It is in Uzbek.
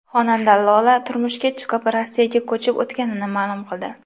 Xonanda Lola turmushga chiqib, Rossiyaga ko‘chib o‘tganini ma’lum qildi.